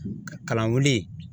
Kalan wuli